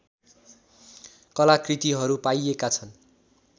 कलाकृतिहरू पाइएका छन्